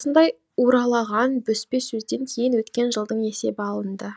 осындай уралаған бөспе сөзден кейін өткен жылдың есебі алынды